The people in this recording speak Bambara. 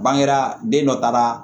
Bangera den dɔ taara